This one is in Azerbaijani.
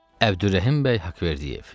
Əbdürrəhim bəy Haqverdiyev.